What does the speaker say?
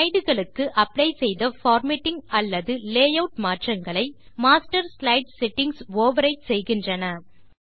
slide களுக்கு apply செய்த formatting அல்லது லேயூட் மாற்றங்களை மாஸ்டர் ஸ்லைடு செட்டிங்ஸ் ஓவர்ரைட் செய்கின்றன